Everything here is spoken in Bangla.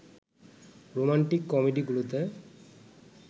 রোমান্টিক কমেডিগুলোতে